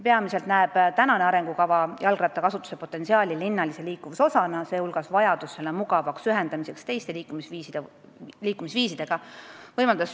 Praegune arengukava näeb jalgrattakasutust linnalise liikuvuse osana, mille potentsiaal avaldub teiste liikumisviisidega ühendamise võimaluses.